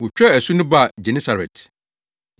Wotwaa asu no baa Genesaret.